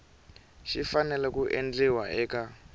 xi fanele ku endliwa eka